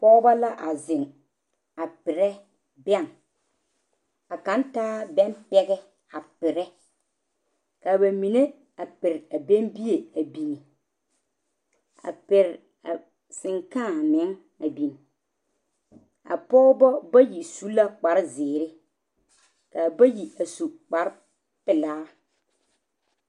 Pɔgebo la a zeŋ a pere bɛŋ ka kaŋa taa bɛŋ pɛge pere ka mine a pere a bɛŋ bie a biŋ a pere sankaa meŋ a biŋ a Pɔgebo bayi su la kpare ziiri kaa bayi a su kpare pelaa.